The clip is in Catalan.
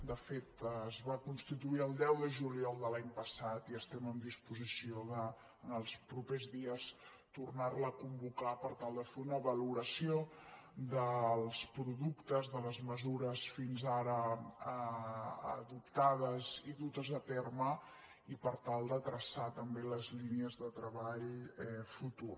de fet es va constituir el deu de juliol de l’any passat i estem en disposició en els propers dies de tornar·la a convocar per tal de fer una valora·ció dels productes de les mesures fins ara adoptades i dutes a terme i per tal de traçar també les línies de treball futur